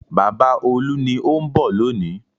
Bàbá Olú ni ó ń bọ̀ lónìí.